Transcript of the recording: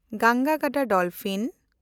ᱜᱟᱝᱜᱟ ᱜᱟᱰᱟ ᱰᱚᱞᱯᱷᱤᱱ